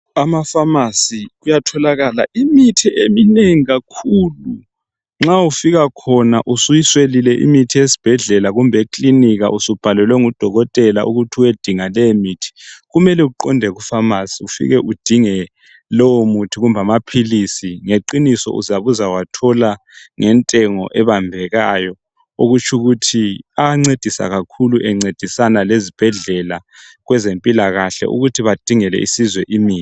ema phamarcy kuyatholakala imithi eminengi akakhulu nxa ufika khona usuyiswelile imithi esibhedlela kumbe ekilinka usubhalelwe ngu dokotela ukuthi uyebhaklelwa leyi imithi kumele uqonde ku phamarcy ufike udinge lowo muthi kumbe amaphilisi iqiniso uzabe uzawathola ngentengo ebambekayo okutshio ukuthi ayancedisa kakhulu encedisa lezibhedlela lezempilakahle ukuthi badingele isizwe imithi